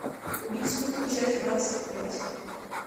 убить скуку часть двадцать пять